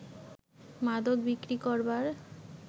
মাদক বিক্রি করবার